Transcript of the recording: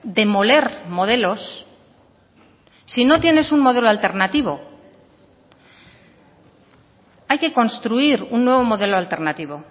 demoler modelos si no tienes un modelo alternativo hay que construir un nuevo modelo alternativo